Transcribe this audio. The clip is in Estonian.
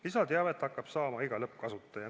Lisateavet hakkab saama iga lõppkasutaja.